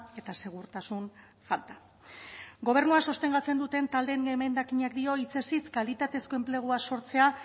eta segurtasun falta gobernua sostengatzen duten taldeen zuzenketak dio hitzez hitz kalitatezko enplegua sortzea